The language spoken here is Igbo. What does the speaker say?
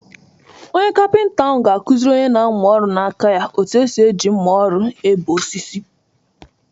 Onye kapịnta ahụ ga-akụziri onye na-amụ ọrụ n'aka ya otú esi eji mma ọrụ ebee osisi.